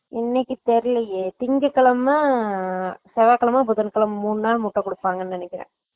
இன்னிக்கு தெரியலையே திங்கட்கிழமை செவ்வாகிழமை புதன் கிழமை மூணு நாள் முட்ட குடுப்பாங்கனு நினைக்குறேன்